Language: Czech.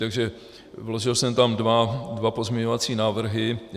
Takže vložil jsem tam dva pozměňovací návrhy.